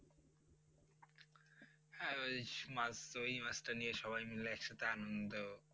হ্যাঁ ওই মাছ ওই মাছ টা নিয়ে সবাই মিলে একসাথে আনন্দ